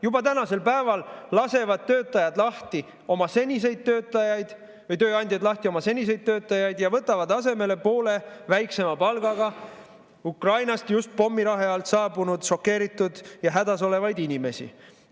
Juba tänasel päeval lasevad tööandjad lahti oma seniseid töötajaid ja võtavad asemele poole väiksema palgaga Ukrainast just pommirahe alt saabunud šokeeritud ja hädas olevaid inimesi.